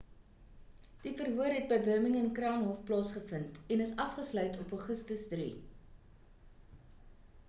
die verhoor het by birmingham crown hof plaasgevind en is afgesluit op augustus 3